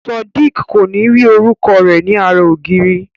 Sodiq ko ni ri orúkọ rẹ ní ara ògiri.